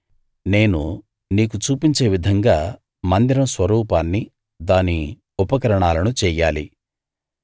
నేను నీకు చూపించే విధంగా మందిరం స్వరూపాన్ని దాని ఉపకరణాలను చెయ్యాలి